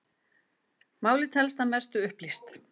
Málið telst að mestu upplýst